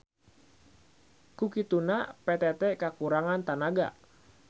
Ku kituna PTT kakurangan tanaga.